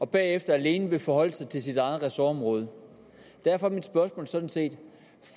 bagefter alene vil forholde sig til sit eget ressortområde derfor er mit spørgsmål sådan set